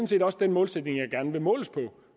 set også den målsætning jeg gerne vil måles på